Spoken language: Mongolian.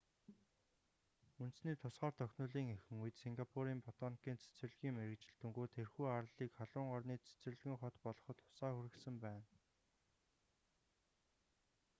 үндэсний тусгаар тогтнолын эхэн үед сингапурийн батоникийн цэцэрлэгийн мэргэжилтэнгүүд тэрхүү арлыг халуун орны цэцэрлэгэн хот болоход тусаа хүргэсэн байна